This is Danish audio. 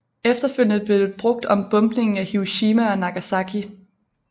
Efterfølgende blev det brugt om bombningen af Hiroshima og Nagasaki